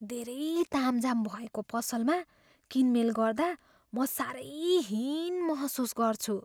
धेरै तामझाम भएको पसलमा किनमेल गर्दा म साह्रै हीन महसुस गर्छु।